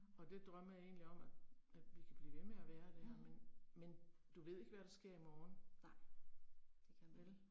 Og det drømmer jeg egentlig om at at vi kan blive ved med at være der, men men du ved ikke hvad der sker i morgen. Vel